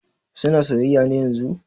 Suna soyayya ne yanzun?